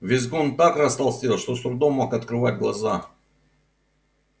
визгун так растолстел что с трудом мог открывать глаза